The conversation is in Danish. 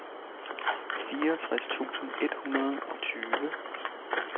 fireogtres tusind et hundrede og tyve